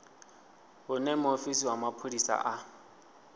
hune muofisi wa mapholisa a